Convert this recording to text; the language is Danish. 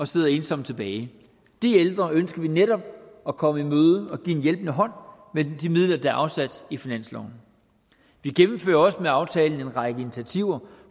sidder ensomme tilbage de ældre ønsker vi netop at komme i møde og at give en hjælpende hånd med de midler der er afsat i finansloven vi gennemfører også med aftalen en række initiativer